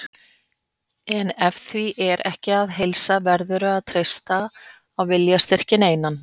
En ef því er ekki að heilsa verðurðu að treysta á viljastyrkinn einan.